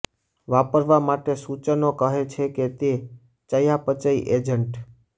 વાપરવા માટે સૂચનો કહે છે કે તે ચયાપચય એજન્ટ